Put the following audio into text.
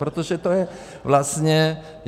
Protože to je vlastně...